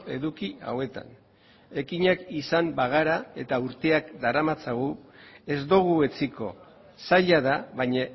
eduki hauetan ekinak izan bagara eta urteak daramatzagu ez dugu etsiko zaila da baina